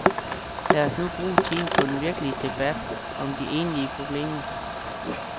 Lad os nu bruge tiden på den virkelige debat om de egentlige problemer.